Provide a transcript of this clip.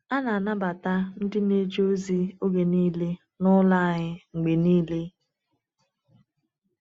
A na-anabata ndị na-eje ozi oge niile n’ụlọ anyị mgbe niile.